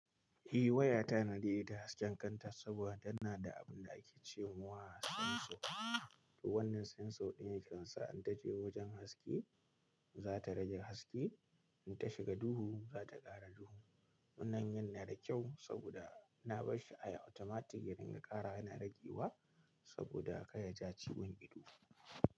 Eh waya ta na daidaita hasken kanta saboda tana da abun da ake cewa sensor. To wannan sensor ɗin yake sa in ta je wajen haske, za ta rage haske, in ta shiga duhu, za ta ƙara duhu. Wannan yan na da kyau saboda na bar shi a automatic, ya dinga ƙarawa yana ragewa saboda kar ya ja ciwon ido.